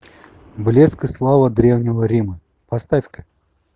блеск и слава древнего рима поставь ка